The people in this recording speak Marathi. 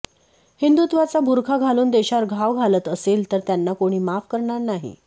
हिंदुत्वाचा बुरखा घालून देशावर घाव घालत असेल तर त्यांना कोणी माफ करणार नाही